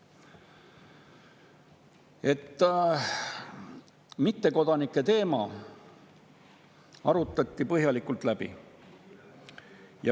Kogu selle protsessi käigus esimene asi oli see, et mittekodanike teema arutati põhjalikult läbi.